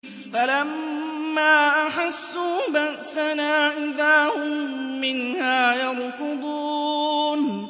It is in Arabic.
فَلَمَّا أَحَسُّوا بَأْسَنَا إِذَا هُم مِّنْهَا يَرْكُضُونَ